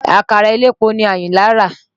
Àkàrà elépo ni Àyìnlá rà.